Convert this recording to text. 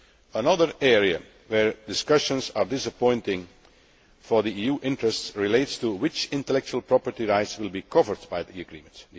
Another area where discussions are disappointing for EU interests relates to which intellectual property rights will be covered by the agreement.